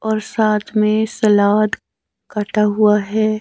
और साथ में सलाद काटा हुआ है।